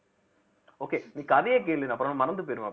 okay நீ கதையை கேளு நான் அப்புறம் மறந்து போயிருவேன்